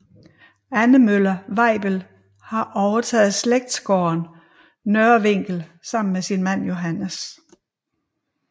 Anne Møller Weibel har overtaget slægtsgården Nørre Vinkel sammen med sin mand Johannes